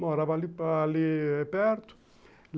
Morava ali ali perto.